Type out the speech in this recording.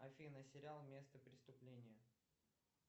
афина сериал место преступления